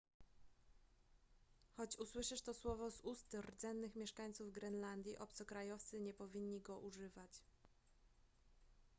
choć usłyszysz to słowo z ust rdzennych mieszkańców grenlandii obcokrajowcy nie powinni go używać